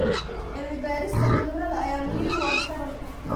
Cilmi-baarista cudurrada ayaa muhiim u ah taranta.